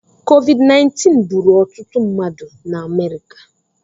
COVID-19 gbùrù ọtụtụ mmadụ na mba America